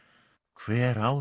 hver á